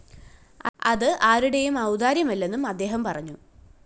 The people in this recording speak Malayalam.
അത് ആരുടേയും ഔദാര്യമല്ലെന്നും അദ്ദേഹം പറഞ്ഞു